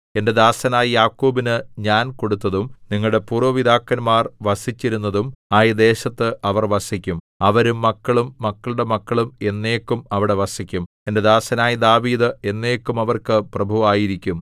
എന്റെ ദാസനായ യാക്കോബിനു ഞാൻ കൊടുത്തതും നിങ്ങളുടെ പൂര്‍വ്വ പിതാക്കന്മാർ വസിച്ചിരുന്നതും ആയ ദേശത്ത് അവർ വസിക്കും അവരും മക്കളും മക്കളുടെ മക്കളും എന്നേക്കും അവിടെ വസിക്കും എന്റെ ദാസനായ ദാവീദ് എന്നേക്കും അവർക്ക് പ്രഭുവായിരിക്കും